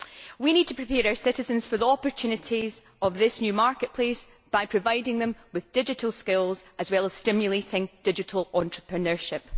We need to prepare our citizens for the opportunities of this new marketplace by providing them with digital skills as well as stimulating digital entrepreneurship.